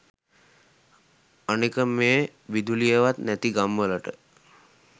අනෙක මේ විදුලියවත් නැති ගම් වලට